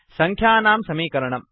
संख्यानां समीकरणम्